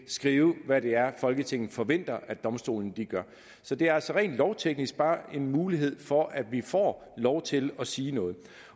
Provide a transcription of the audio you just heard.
skrive hvad det er folketinget forventer domstolene gør så det er rent lovteknisk bare en mulighed for at vi får lov til at sige noget